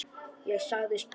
Ég sagðist búast við því.